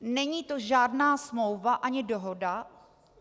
Není to žádná smlouva ani dohoda.